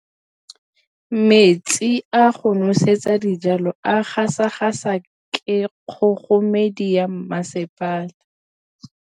Metsi a go nosetsa dijalo a gasa gasa ke kgogomedi ya masepala.